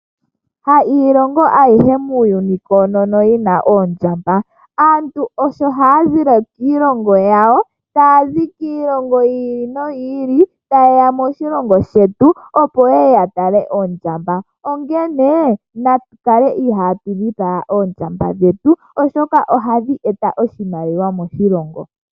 Ha iilongo ayihe muuyuni koonono yina oondjamba aantu osho hayazile kiilongo yawo ,tayazi kiilongo yi ili noyi ili tayeya moshilongo shetu tayeya ya tale oondjamba onkene natu kale ihatu lwitha oondjamba dhetu oshoka ohadhi eta oshimaliwa moshilongo.